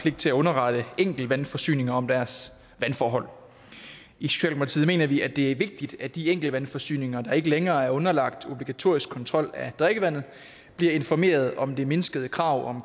pligt til at underrette enkeltvandforsyninger om deres vandforhold i socialdemokratiet mener vi at det er vigtigt at de enkeltvandforsyninger der ikke længere er underlagt obligatorisk kontrol af drikkevandet bliver informeret om de mindskede krav